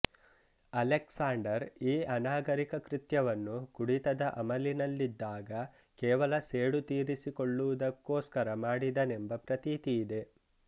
Alexander ಈ ಅನಾಗರಿಕ ಕೃತ್ಯವನ್ನು ಕುಡಿತದ ಅಮಲಿನಲ್ಲಿದ್ದಾಗ ಕೇವಲ ಸೇಡು ತೀರಿಸಿಕೊಳ್ಳುವುದಕ್ಕೋಸ್ಕರ ಮಾಡಿದನೆಂಬ ಪ್ರತೀತಿ ಇದೆ